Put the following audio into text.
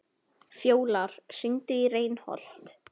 Fjólar, hringdu í Reinholt.